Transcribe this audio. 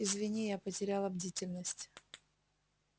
извини я потеряла бдительность